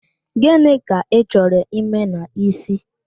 Gịnị ka Ị chọrọ ime n'ísí?